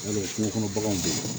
Yarɔ kungo kɔnɔ baganw bɛ yen